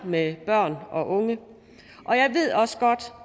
med børn og unge